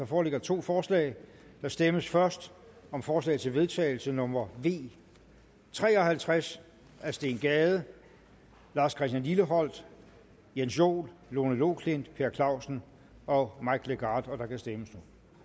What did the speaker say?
foreligger to forslag der stemmes først om forslag til vedtagelse nummer v tre og halvtreds af steen gade lars christian lilleholt jens joel lone loklindt per clausen og mike legarth der kan stemmes